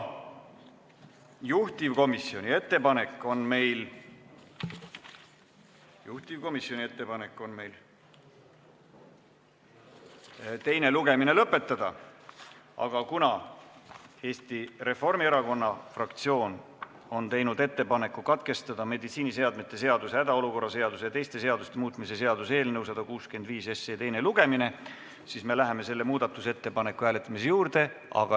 Juhtivkomisjoni ettepanek on teine lugemine lõpetada, aga kuna Eesti Reformierakonna fraktsioon on teinud ettepaneku meditsiiniseadme seaduse, hädaolukorra seaduse ja teiste seaduste muutmise seaduse eelnõu 165 teine lugemine katkestada, siis me läheme selle ettepaneku hääletamise juurde.